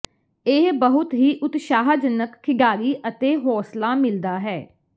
ਇਹ ਬਹੁਤ ਹੀ ਉਤਸ਼ਾਹਜਨਕ ਖਿਡਾਰੀ ਅਤੇ ਹੌਸਲਾ ਮਿਲਦਾ ਹੈ